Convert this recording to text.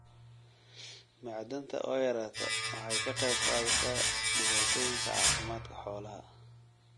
Macdanta oo yaraata waxay ka qayb qaadataa dhibaatooyinka caafimaadka xoolaha.